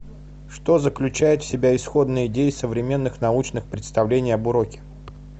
что заключает в себе исходная идея современных научных представлений об уроке